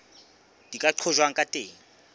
di ka qojwang ka teng